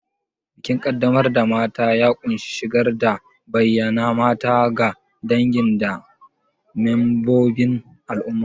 Bikin qaddamar da mata ya ƙunshi shigar da bayyana mata ga dangi da membobin al'umma.